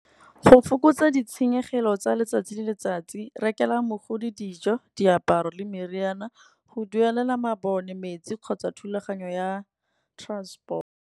Go fokotsa ditshenyegelo tsa letsatsi le letsatsi, rekela mogodi dijo, diaparo le meriana. Go duelela mabone metsi kgotsa thulaganyo ya transport.